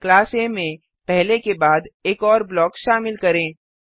class आ में पहले के बाद एक और ब्लॉक शामिल करें